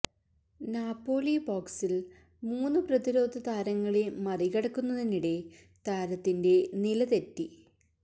Napoli ബോക്സില് മൂന്ന് പ്രതിരോധ താരങ്ങളെ മറികടക്കുന്നതിനിടെ താരത്തിന്റെ നില തെറ്റി